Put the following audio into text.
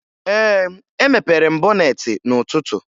Ee, emepere m bọneetị n'ụtụtu